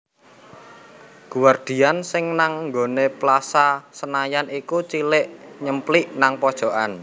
Guardian sing nang nggonane Plaza Senayan iku cilik nyemplik nang pojokan